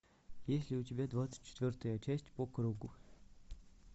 есть ли у тебя двадцать четвертая часть по кругу